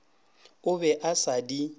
a be a sa di